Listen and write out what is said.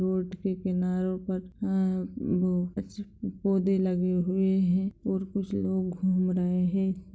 Road के किनारो पर आ बो पौधे लगे हुए है और कुछ लोग घूम रहे है।